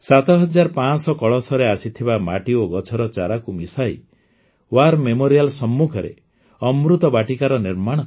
୭୫୦୦ କଳସରେ ଆସିଥିବା ମାଟି ଓ ଗଛର ଚାରାକୁ ମିଶାଇ ୱାର୍ ମେମୋରିଆଲ୍ ସମ୍ମୁଖରେ ଅମୃତ ବାଟିକାର ନିର୍ମାଣ କରାଯିବ